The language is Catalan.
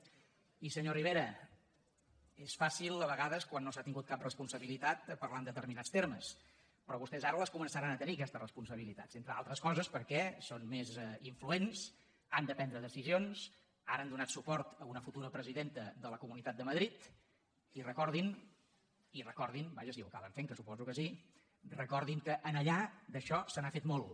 i senyor rivera és fàcil a vegades quan no s’ha tingut cap responsabilitat parlar en determinats termes però vostès ara les començaran a tenir aquestes responsabilitats entre altres coses perquè són més influents han de prendre decisions ara han donat suport a una futura presidenta de la comunitat de madrid i recordin vaja si ho acaben fent que suposo que sí que en allà d’això se n’ha fet molt